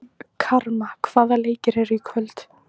Karma, hvaða leikir eru í kvöld?